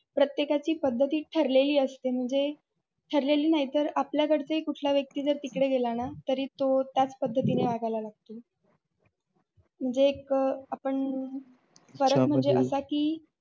प्रत्येकाची पद्धत ही ठरलेली असते म्हणजे ठरलेली नाही तर आपल्याकडचा कुठलाही व्यक्ती तिकड गेला न तरी तो त्याच पद्धती न वागायला लागल म्हणजे एक आपण फरक म्हणजे असा की.